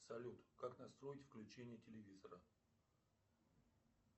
салют как настроить включение телевизора